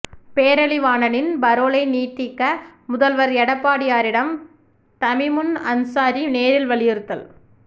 பேரறிவாளனின் பரோலை நீட்டிக்க முதல்வர் எடப்பாடியாரிடம் தமிமுன் அன்சாரி நேரில் வலியுறுத்தல்